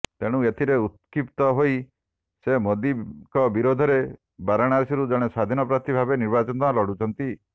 ତେଣୁ ଏଥିରେ ଉତ୍କ୍ଷିପ୍ତ ହୋଇ ସେ ମୋଦୀଙ୍କ ବିରୋଧରେ ବାରଣାସୀରୁ ଜଣେ ସ୍ବାଧୀନ ପ୍ରାର୍ଥୀ ଭାବେ ନିର୍ବାଚନ ଲଢ଼ୁଛନ୍ତି